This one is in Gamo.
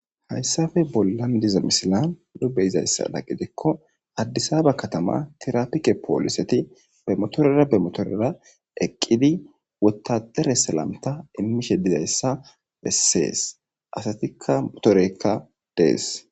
Hayssafe bollan diza misilan nu be7izayssada gidikko addisaaba kathamaa thiraapike poolisethi be mothoreera be mothoreera eqqidi woththadere salamtha immishe dizayssa bessees; asatikka motoreykka dees.